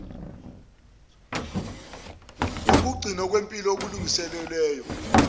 nokugcinwa kwempi okulungiselwe